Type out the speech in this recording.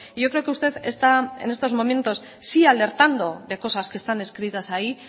yo creo que usted está en estos momentos sí alertando de cosas que están escritas ahí